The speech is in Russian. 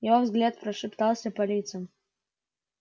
его взгляд прошептался по лицам